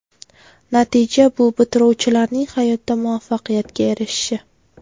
Natija bu bitiruvchilarning hayotda muvaffaqiyatga erishishi.